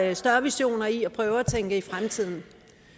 er større visioner i at prøve at tænke på fremtiden